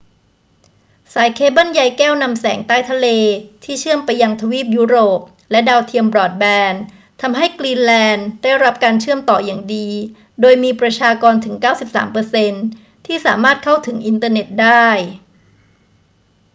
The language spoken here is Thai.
สายเคเบิลใยแก้วนำแสงใต้ทะเลที่เชื่อมไปยังทวีปยุโรปและดาวเทียมบรอดแบนด์ ทำให้กรีนแลนด์ได้รับการเชื่อมต่ออย่างดี โดยมีประชากรถึง 93% ที่สามารถเข้าถึงอินเทอร์เน็ตได้